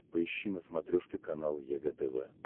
поищи на смотрешке канал егэ тв